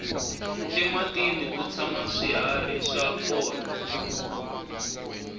ematini ku tshama swihari swa kona